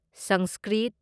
Sanskrit